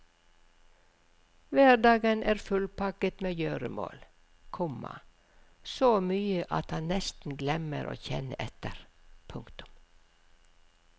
Hverdagen er fullpakket med gjøremål, komma så mye at han nesten glemmer å kjenne etter. punktum